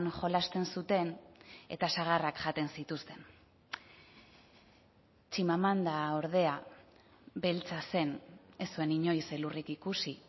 jolasten zuten eta sagarrak jaten zituzten chimamanda ordea beltza zen ez zuen inoiz elurrik ikusi